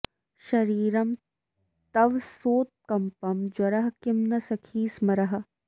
शरीरं तव सोत्कम्पं ज्वरः किं न सखि स्मरः